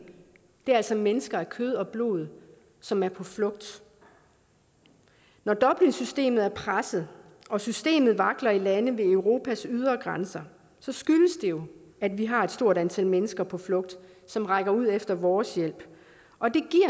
er altså mennesker af kød og blod som er på flugt når dublinsystemet er presset og systemet vakler i lande ved europas ydre grænser skyldes det jo at vi har et stort antal mennesker på flugt som rækker ud efter vores hjælp